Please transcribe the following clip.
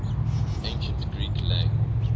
ancient greek lang